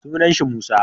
Suna shi Musa